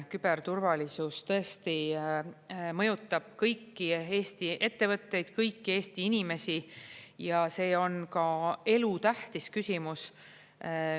Küberturvalisus tõesti mõjutab kõiki Eesti ettevõtteid, kõiki Eesti inimesi ja see on ka elutähtis küsimus.